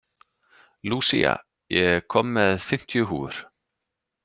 Lúsía, ég kom með fimmtíu húfur!